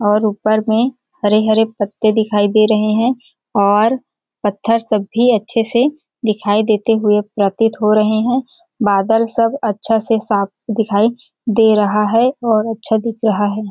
और ऊपर में हरे-हरे पत्ते दिखाई दे रहे है और पत्थर सब भी अच्छे से दिखाई दे हुए प्रतीत हो रहे है और बादल सब अच्छा से साफ दिखाई दे रहा है और अच्छा दिख रहा है।